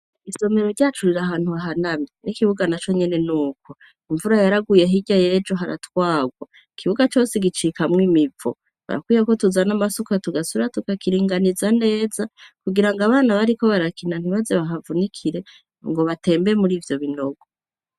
Isomero ryacu riri ahantu hahanamye n'ikibuga na co nyene, n'uko imvura yaraguye hirya yejo haratwagwa ,ikibuga cose gicikamwo imivo ,harakwiye ko tuzana amasuka tugasubira tukakiringaniza neza ,kugira ngo abana bariko barakina ntibaze bahavunikire ngo batembeye muri ivyo binogo.